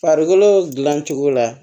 Farikolo dilancogo la